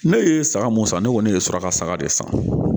Ne ye saga mun san ne kɔni ne bɛ sɔrɔ ka saga de san